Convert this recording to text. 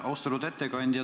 Austatud ettekandja!